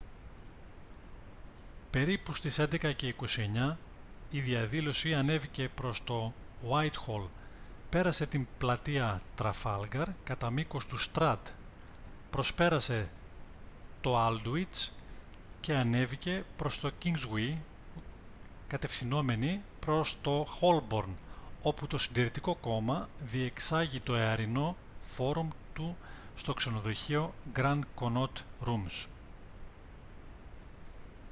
περίπου στις 11:29 η διαδήλωση ανέβηκε προς το γουάιτχολ πέρασε την πλατεία τραφάλγκαρ κατά μήκος του στραντ προσπέρασε το άλντουιτς και ανέβηκε προς το κίνγκσγουεϊ κατευθυνόμενη προς το χόλμπορν όπου το συντηρητικό κόμμα διεξάγει το εαρινό φόρουμ του στο ξενοδοχείο γκραντ κονότ ρουμς